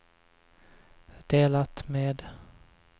delat med